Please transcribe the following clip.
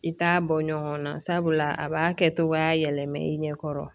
I t'a bɔ ɲɔgɔn na sabula a b'a kɛ cogoya yɛlɛmɛ i ɲɛkɔrɔ